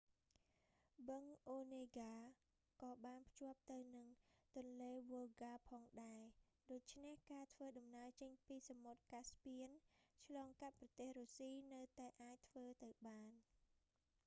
បឹងអូនេហ្កា onega ក៏បានភ្ជាប់ទៅនឹងទន្លេវុលហ្កា volga ផងដែរ ដូច្នេះការធ្វើដំណើរចេញពីសមុទ្រកាស្ពៀន caspian ឆ្លងកាត់ប្រទេសរុស្ស៊ីនៅតែអាចធ្វើទៅបាន